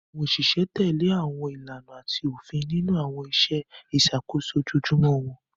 Àwọn òṣìṣẹ́ ìjọba tẹ̀lé àwọn ìlànà àti òfin nínú àwọn iṣẹ́ ìṣàkóso ojoojúmọ́ wọn.